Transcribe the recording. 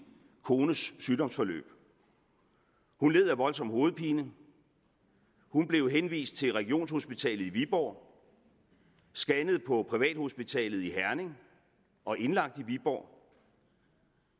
kones sygdomsforløb hun led af voldsom hovedpine hun blev henvist til regionshospitalet i viborg scannet på privathospitalet i herning og indlagt i viborg